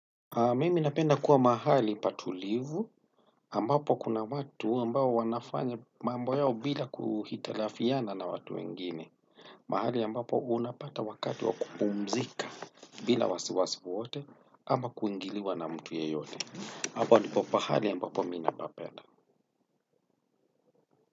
Mimi napenda kuwa mahali patulivu ambapo kuna watu ambapo wanafanya mambo yao bila kuhitilafiana na watu wengine. Mahali ambapo unapata wakati wa kupumzika bila wasi wasi wowote ama kuingiliwa na mtu yeyote. Hapo ndipo pahali ambapo mimi napapenda.